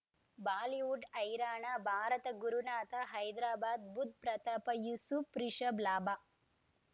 Bollywood ಹೈರಾಣ ಭಾರತ ಗುರುನಾಥ ಹೈದ್ರಾಬಾದ್ ಬುಧ್ ಪ್ರತಾಪ್ ಯೂಸುಫ್ ರಿಷಬ್ ಲಾಭ